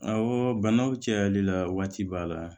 Awɔ banaw cayali la waati b'a la